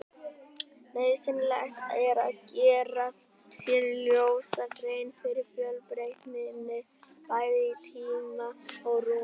Nauðsynlegt er að gera sér ljósa grein fyrir fjölbreytninni, bæði í tíma og rúmi.